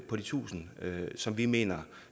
på de tusind som vi mener